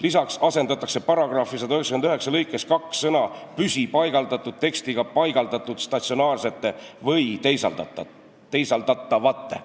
Lisaks asendatakse § 199 lõikes 2 sõna "püsipaigaldatud" tekstiga "paigaldatud statsionaarsete või teisaldatavate".